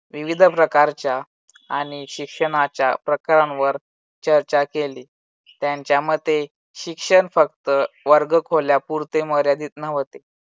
विविध प्रकारच्या आणि शिक्षणाच्या प्रकारांवर चर्चा केली. त्यांच्या मते शिक्षण फक्त वर्गखोल्या पुरते मर्यादित नव्हते.